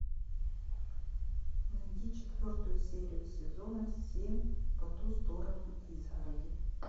найди четвертую серию сезона семь по ту сторону изгороди